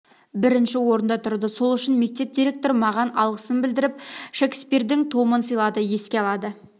бірінші орында тұрды сол үшін мектеп директоры маған алғысын білдіріп шекспирдің томын сыйлады еске алады